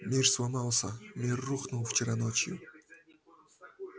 мир сломался мир рухнул вчера ночью